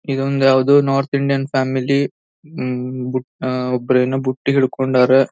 ಇದೊಂದ್ ಯಾವದೋ north Indian family ಉಹ್ ಅಹ್ ಒಬ್ಬರು ಏನೋ ಬುಟ್ಟಿಹಿಡ್ಕೊಂಡರ್.